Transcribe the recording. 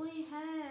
ওই হ্যাঁ,